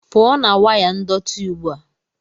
pụọ na waya ndọtị ugbu a!